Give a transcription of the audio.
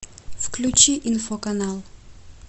включи инфоканал